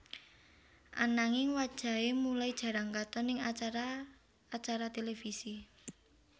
Ananging wajahé mulai jarang katon ning acara acara televisi